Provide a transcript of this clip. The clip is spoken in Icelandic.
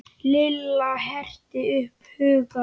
Lilla herti upp hugann.